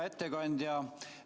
Hea ettekandja!